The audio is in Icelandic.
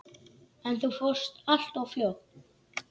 En þú fórst alltof fljótt.